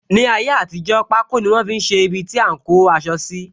Ní ayé àtijó, pako ni wọn fi ṣe ibiti a ń kó aṣọ síi